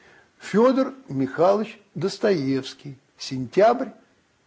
фёдор михайлович достоевский сентябрь